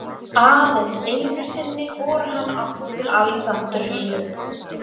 Aðeins einusinni fór hann aftur til Alexandríu.